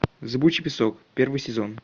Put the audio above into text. зыбучий песок первый сезон